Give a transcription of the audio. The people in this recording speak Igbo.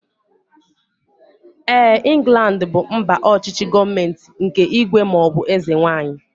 Éè, Inglandi bụ mba ọchịchị gọọmenti nke ígwè maọbụ eze nwaanyị